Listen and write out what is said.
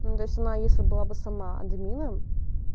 ну то есть она если была бы сама админом